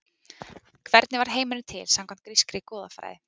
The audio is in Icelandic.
hvernig varð heimurinn til samkvæmt grískri goðafræði